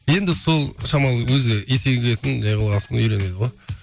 енді сол шамалы өзі есейгесін не қылғасын үйренеді ғой